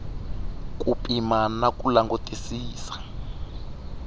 ku pima na ku langutisisa